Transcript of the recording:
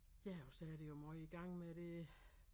Ja og så er der jo måj gang med det